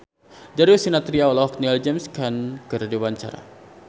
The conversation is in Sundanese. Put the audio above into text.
Darius Sinathrya olohok ningali James Caan keur diwawancara